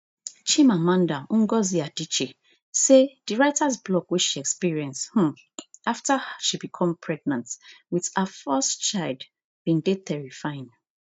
chimamanda ngozi adichie say di writers block she experience um after she become pregnant with her first child bin dey terrifying